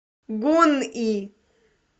гунъи